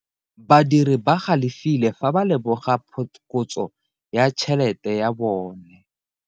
Badiri ba galefile fa ba lemoga phokotso ya tšhelete ya bone.